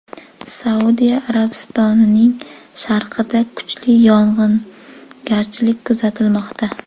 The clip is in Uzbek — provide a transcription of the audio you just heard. Saudiya Arabistonining sharqida kuchli yog‘ingarchilik kuzatilmoqda.